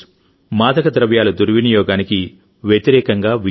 మాదక ద్రవ్యాల దుర్వినియోగానికి వ్యతిరేకంగా విజయం